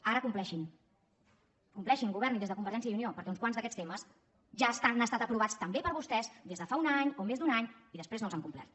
ara compleixin compleixin governin des de convergència i unió perquè uns quants d’aquests temes ja han estat aprovats també per vostès des de fa un any o més d’un any i després no els han complert